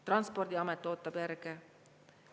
Transpordiamet ootab järge.